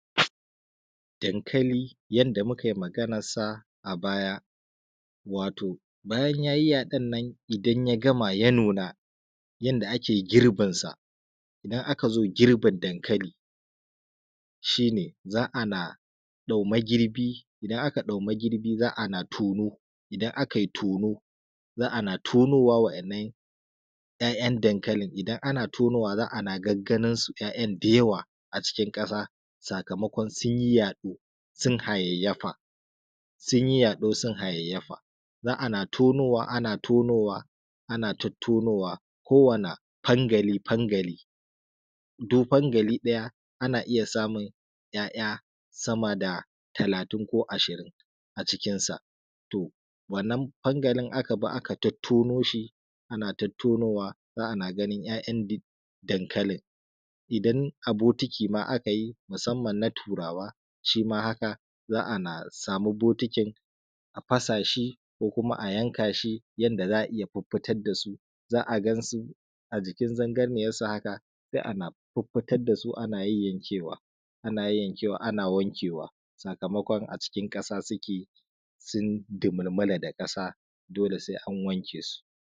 Dankali yadda muka yi maganarsa a baya wato bayan ya yi yaɗon nan idan ya gama ya nuna yadda ake girbinsa, idan aka zo girbin dankali shi ne, za a na dau magirbi za a na tono, za a na tonowa 'ya'yan dankali idan ana tono za a na gagganinsu 'ya'yan dankali da yawa a cikin ƙasa saboda su yi yaɗo sun hayayyafa za a na tonowa ana tonowa ana tottonowa ko wanne fangali fangali. Duk fangali ɗaya ana iya samun ya'ya sama da talatin ko ashirin a cikinsa to wannan fangali aka bi aka tattono shi ana tattonowa za a na ganin 'ya’yan dankali. Idan a bokiti ma aka yi musamman ma na turawa shima haka. Za a na sama bokitin a fasa shi ko kuma a yanka shi yadda za a iya fiffitar da su za a gansu a jikin zangarniyarsu haka sai ana yayyanke sai ana yayyankewa ana wankewa sakamakon a cikin ƙasa suke sun dumulmula da ƙasa sai a waken su.